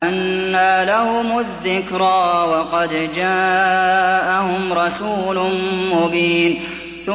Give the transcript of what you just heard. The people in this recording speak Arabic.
أَنَّىٰ لَهُمُ الذِّكْرَىٰ وَقَدْ جَاءَهُمْ رَسُولٌ مُّبِينٌ